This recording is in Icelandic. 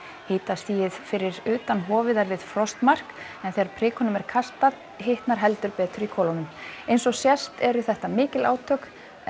hitastigið fyrir utan hofið er við frostmark en þegar prikunum er kastað hitnar heldur betur í kolunum eins og sést eru þetta mikil átök en